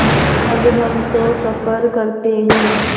अब हम तो सफ़र करते हैं